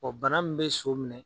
Ɔ bana min bɛ so minɛ